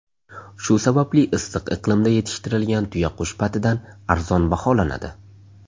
Shu sababli issiq iqlimda yetishtirilgan tuyaqush patidan arzon baholanadi.